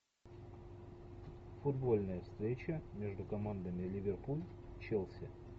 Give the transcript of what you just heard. футбольная встреча между командами ливерпуль челси